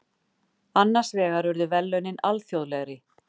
Annars vegar urðu verðlaunin alþjóðlegri.